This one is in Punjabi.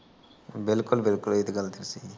ਬਿਲਕੁੱਲ ਬਿਲਕੁੱਲ ਇਹ ਤਾਂ ਗੱਲ ਠੀਕ ਕਹੀ